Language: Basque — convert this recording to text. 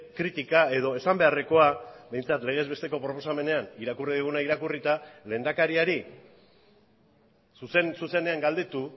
kritika edo esan beharrekoa behintzat legez besteko proposamenean irakurri duguna irakurrita lehendakariari zuzen zuzenean galdetu